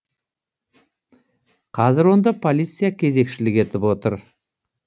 қазір онда полиция кезекшілік етіп отыр